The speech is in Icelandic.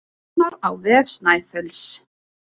Sjá nánar á vef Snæfells